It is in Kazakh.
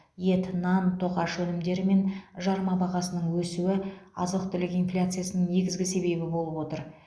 ет нан тоқаш өнімдері мен жарма бағасының өсуі азық түлік инфляциясының негізгі себебі болып отыр